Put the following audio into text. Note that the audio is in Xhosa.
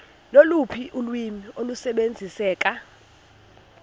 loluphi ulwimi olusebenziseka